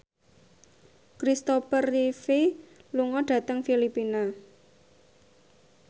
Christopher Reeve lunga dhateng Filipina